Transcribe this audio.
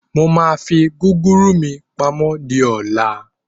Mo máa fi gúgúrú mí pamọ́ di ọ̀la.